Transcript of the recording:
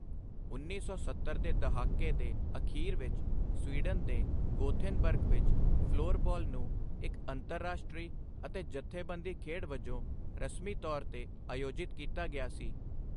ਉੱਨੀ ਸੌ ਸੱਤਰ ਦੇ ਦਹਾਕੇ ਦੇ ਅਖ਼ੀਰ ਵਿੱਚ ਸਵੀਡਨ ਦੇ ਗੋਥੇਨਬਰਗ ਵਿੱਚ ਫਲੋਰਬਾਲ ਨੂੰ ਇੱਕ ਅੰਤਰਰਾਸ਼ਟਰੀ ਅਤੇ ਜਥੇਬੰਦੀ ਖੇਡ ਵਜੋਂ ਰਸਮੀ ਤੌਰ 'ਤੇ ਆਯੋਜਿਤ ਕੀਤਾ ਗਿਆ ਸੀ।